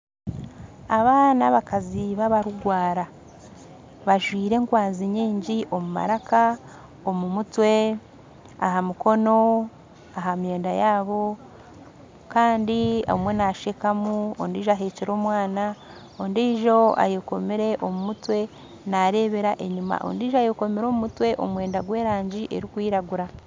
Abaana babakazib ba barugwara bazwire enkwanzi nyingi omu maraka, omu mutwe aha mukono aha mwenda yabo kandi omwe naashekamu ondiijo ahekire omwana ondiijo ayekomire omu mutwe naarebera enyima ondiijo ayekomire omu mutwe omwenda gwerangi erikwiragura.